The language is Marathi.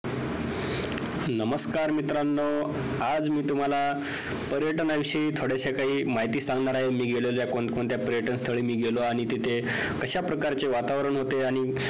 नमस्कार मित्रांनो आज मी तुम्हाला पर्यटनाविषयी थोड्याशा काही माहिती सांगणार आहे मी गेलेलो कोण कोणत्या पर्यटनस्थळी मी गेलो आणि तिथे कशाप्रकारचे वातावरण होते आणि